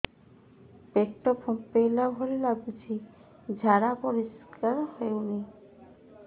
ପେଟ ଫମ୍ପେଇଲା ଭଳି ଲାଗୁଛି ଝାଡା ପରିସ୍କାର ହେଉନି